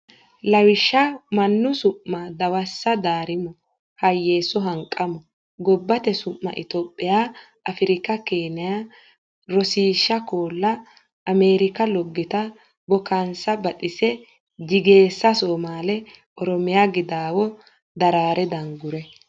Lawishsha Mannu su ma Dawassa Daarimo Hayeesso Hanqamo Gobbate su ma Itophiya Afirika Keeniya Rosiishsha koolla ameerika loggita bookaansa baxise jigeessa somaale oromiya gidaawo duraare dunguure.